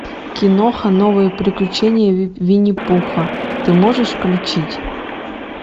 киноха новые приключения винни пуха ты можешь включить